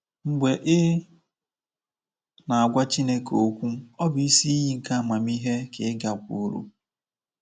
Mgbe ị na-agwa Chineke okwu, ọ bụ isi iyi nke amamihe ka ị gakwuuru.